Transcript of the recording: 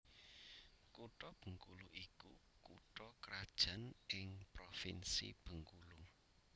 Kutha Bengkulu iku kutha krajan ing Provinsi Bengkulu